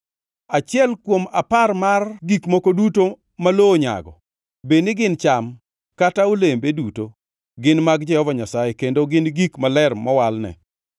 “ ‘Achiel kuom apar mar gik moko duto ma lowo onyago bedni gin cham, kata olembe duto gin mag Jehova Nyasaye, kendo gin gik maler mowalne.